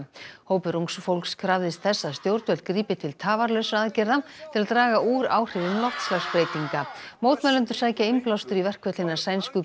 hópur ungs fólks krafðist þess að stjórnvöld grípi til tafarlausra aðgerða til að draga úr áhrifum loftslagsbreytinga mótmælendur sækja innblástur í verkföll hinnar sænsku